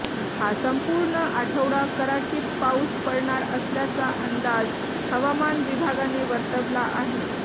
हा संपूर्ण आठवडा कराचीत पाऊस पडणार असल्याचा अंदाज हवामान विभागाने वर्तवला आहे